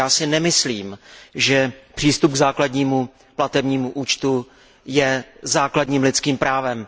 Já si nemyslím, že přístup k základnímu platebnímu účtu je základním lidským právem.